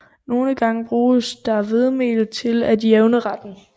Nogle gange bruges der hvedemel til at jævne retten